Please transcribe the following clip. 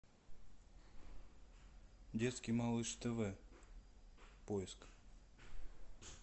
детский малыш тв поиск